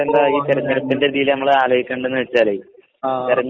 ആഹ്.